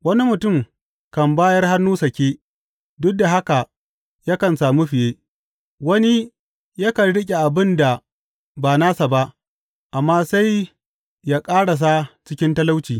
Wani mutum kan bayar hannu sake, duk da haka yakan sami fiye; wani yakan riƙe abin da ba nasa ba, amma sai ya ƙarasa cikin talauci.